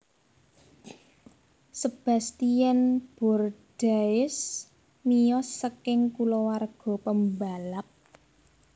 Sebastien Bourdais miyos saking kulawarga pembalap